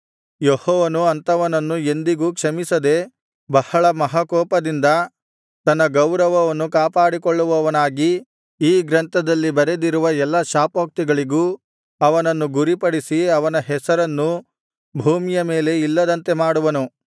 ಯೆಹೋವನು ಅಂಥವನನ್ನು ಎಂದಿಗೂ ಕ್ಷಮಿಸದೆ ಬಹಳ ಮಹಾಕೋಪದಿಂದ ತನ್ನ ಗೌರವವನ್ನು ಕಾಪಾಡಿಕೊಳ್ಳುವವನಾಗಿ ಈ ಗ್ರಂಥದಲ್ಲಿ ಬರೆದಿರುವ ಎಲ್ಲಾ ಶಾಪೋಕ್ತಿಗಳಿಗೂ ಅವನನ್ನು ಗುರಿಪಡಿಸಿ ಅವನ ಹೆಸರನ್ನು ಭೂಮಿಯ ಮೇಲೆ ಇಲ್ಲದಂತೆ ಮಾಡುವನು